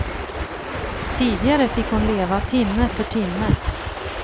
Tidigare fick hon leva timme för timme.